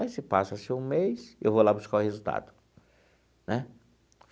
Aí se passa-se um mês, eu vou lá buscar o resultado, né?